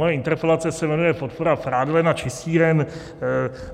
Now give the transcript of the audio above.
Moje interpelace se jmenuje "podpora prádelen a čistíren",